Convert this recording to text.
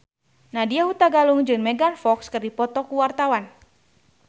Nadya Hutagalung jeung Megan Fox keur dipoto ku wartawan